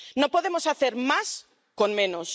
No podemos hacer más con menos.